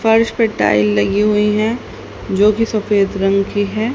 फर्श पे टाइल लगी हुई है जो की सफेद रंग की है।